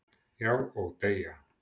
Já, og deyja